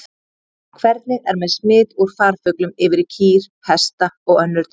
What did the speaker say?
Hvernig er með smit úr farfuglum yfir í kýr, hesta og önnur dýr?